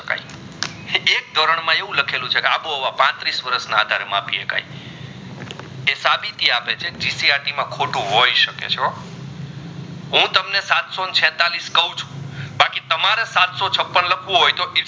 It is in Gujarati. એક ધોરgણમાં એવું લખેલું છે રાબો હવે પત્રીસ વરસે ના આધારે માપી સકાઈ તે સાબિતી આપે છે કે ત્રીજી આતિ માં ખોટું હોય સકે છે હો હું તમને સાતસો ને છતાલીસ કાવ છું બાકી તનમરે સાતસો છપ્પન લખવું હોય તો